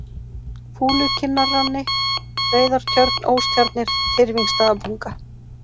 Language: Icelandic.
Fúlukinnarrani, Reiðartjörn, Óstjarnir, Tyrfingsstaðabunga